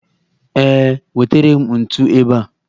Ee, wetere m ntu ebe a